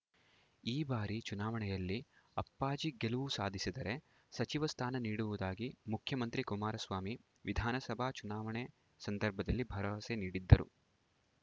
ಈ ಬಾರಿ ಚುನಾವಣೆಯಲ್ಲಿ ಅಪ್ಪಾಜಿ ಗೆಲುವು ಸಾಧಿಸಿದರೆ ಸಚಿವ ಸ್ಥಾನ ನೀಡುವುದಾಗಿ ಮುಖ್ಯಮಂತ್ರಿ ಕುಮಾರಸ್ವಾಮಿ ವಿಧಾನಸಭಾ ಚುನಾವಣೆ ಸಂದರ್ಭದಲ್ಲಿ ಭರವಸೆ ನೀಡಿದ್ದರು